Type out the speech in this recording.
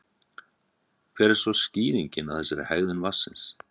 Hver er svo skýringin á þessari hegðun vatnsins?